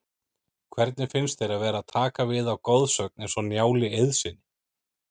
Hvernig finnst þér að vera að taka við af goðsögn eins og Njáli Eiðssyni?